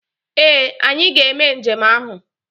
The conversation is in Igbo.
Ee! Anyị ga-eme njem ahụ.